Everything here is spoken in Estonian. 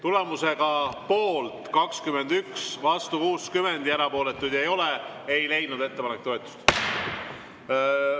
Tulemusega poolt 21, vastu 60 ja erapooletuid ei ole, ei leidnud ettepanek toetust.